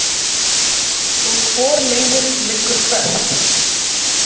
Og hvor leiðin liggur hvert?